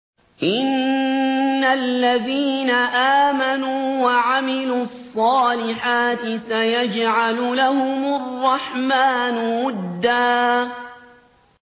إِنَّ الَّذِينَ آمَنُوا وَعَمِلُوا الصَّالِحَاتِ سَيَجْعَلُ لَهُمُ الرَّحْمَٰنُ وُدًّا